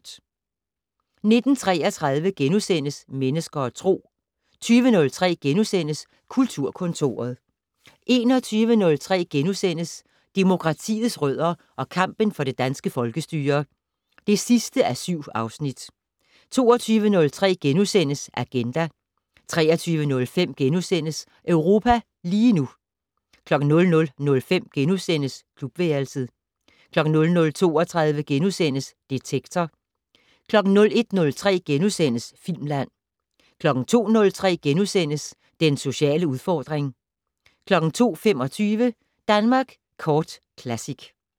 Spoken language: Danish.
19:33: Mennesker og Tro * 20:03: Kulturkontoret * 21:03: Demokratiets rødder og kampen for det danske folkestyre (7:7)* 22:03: Agenda * 23:05: Europa lige nu * 00:05: Klubværelset * 00:32: Detektor * 01:03: Filmland * 02:03: Den sociale udfordring * 02:25: Danmark Kort Classic